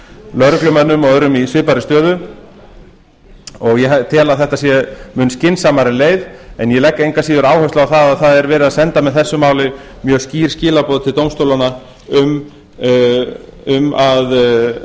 lögreglumönnum og öðrum í svipaðri stöðu og ég tel að þetta sé mun skynsamari leið en ég legg engu að síður áherslu á það að verið er að senda með þessu máli mjög skýr skilaboð til dómstólanna um að